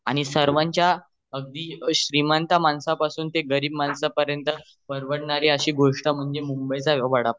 आणि सर्वांच्या अश्या अगदी श्रीमंत तर गरीब माणसा पर्यंत परवडणारी गोष्ट म्हणजे मुंबई चा वडा पाव